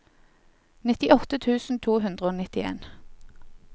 nittiåtte tusen to hundre og nittien